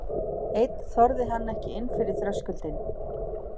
Einn þorði hann ekki inn fyrir þröskuldinn.